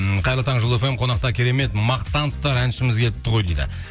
м қайырлы таң жұлдыз фм қонақта керемет мақтан тұтар әншіміз келіпті ғой дейді